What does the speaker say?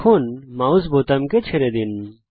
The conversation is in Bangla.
এখন মাউস বোতামকে ছেড়ে দিন